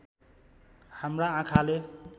हाम्रा आँखाले